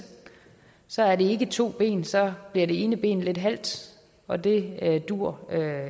så er det ikke to ben så bliver det ene ben lidt halt og det duer